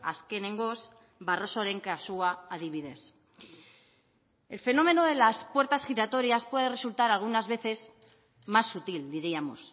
azkenengoz barrosoren kasua adibidez el fenómeno de las puertas giratorias puede resultar algunas veces más sutil diríamos